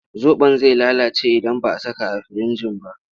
Zaɓon zai lalace idan ba a saka a firinji ba.